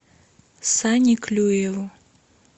сане клюеву